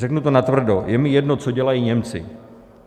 Řeknu to natvrdo: Je mi jedno, co dělají Němci.